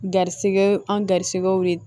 Garisigɛw an garisigɛw de